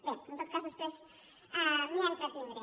bé en tot cas després m’hi entretindré